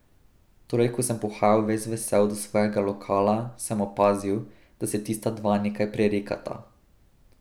Torej ko sem pohajal ves vesel do svojega lokala, sem opazil, da se tista dva nekaj prerekata.